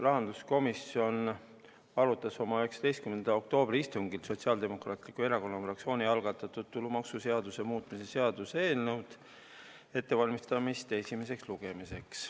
Rahanduskomisjon arutas oma 19. oktoobri istungil Sotsiaaldemokraatliku Erakonna fraktsiooni algatatud tulumaksuseaduse muutmise seaduse eelnõu ettevalmistamist esimeseks lugemiseks.